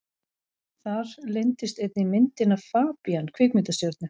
Þar leyndist einnig myndin af FABÍAN kvikmyndastjörnu.